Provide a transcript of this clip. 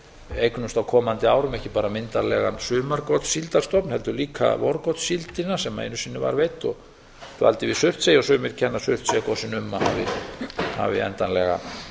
eignumst á komandi árum ekki bara myndarlegan sumargotssíldarstofn heldur líka vorgotssíldina sem einu sinni var veidd og dvaldi við surtsey og sumir kenna surtseyjargosinu um að hafi endanlega